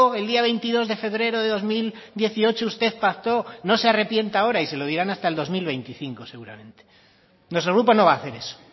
el día veintidós de febrero de dos mil dieciocho usted pactó no se arrepienta ahora y se lo dirán hasta el dos mil veinticinco seguramente nuestro grupo no va a hacer eso